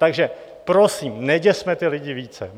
Takže prosím, neděsme ty lidi více.